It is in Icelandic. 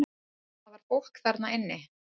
Það var fólk þarna inni!